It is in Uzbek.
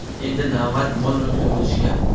Endi navbat mol-mulkni bo‘lishga.